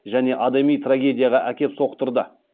және адами трагедияға әкеп соқтырды